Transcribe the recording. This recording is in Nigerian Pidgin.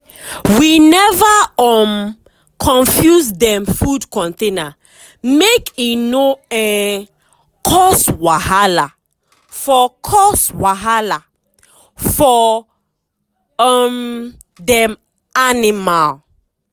we never um confuse dem food container make e no um cause wahala for cause wahala for um dem animal.